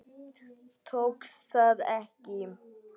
Tókst það ekki.